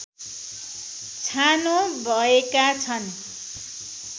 छानो भएका छन्